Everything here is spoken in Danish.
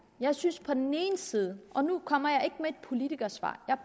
jeg synes på den ene side og nu kommer jeg ikke med et politikersvar jeg